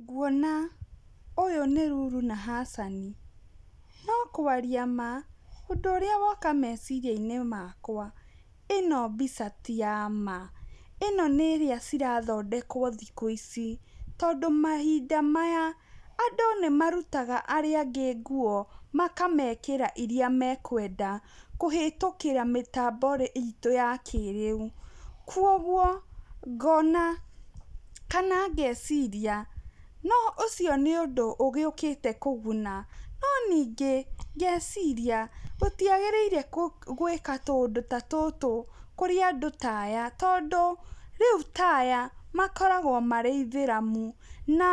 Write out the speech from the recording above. Nguona ũyũ nĩ Lulu na Hassan ,no kwaria ma ũndũ ũrĩa woka meciria-inĩ makwa ĩno mbica ti yama ĩno nĩ ĩrĩa cirathondekwo thikũ ici tondũ mahinda maya andũ nĩmarutaga arĩa angĩ nguo makamekĩra iria mekwenda, kũhĩtũkĩra mĩtambo itũ ya kĩrĩu, kwa ũguo ngona kana ngeciria ũcio nĩ undu ũgĩũkite kũguna no nĩngĩ ngeciria gũtiagĩrĩire gwĩka tũundũ ta tũtũ kũrĩ andũ taya, tondũ rĩu ta aya makoragwo marĩ aithĩramu, na